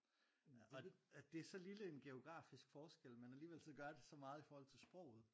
Og det så lille en geografisk forskel men alligevel så gør det så meget i forhold til sproget